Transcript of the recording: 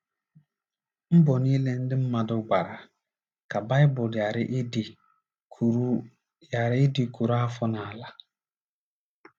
Mbọ niile ndị mmadụ gbara ka Baịbụl ghara ịdị kụrụ ghara ịdị kụrụ afọ n’ala.